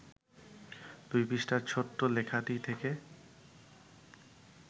২ পৃষ্ঠার ছোট্ট লেখাটি থেকে